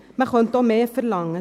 Man könnte auch mehr verlangen.